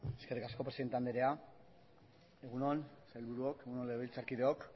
eskerrik asko presidente anderea egun on sailburuok egun on legebiltzarkideok